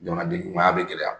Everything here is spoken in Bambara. Jamanaden ɲumaya bɛ gɛlɛya.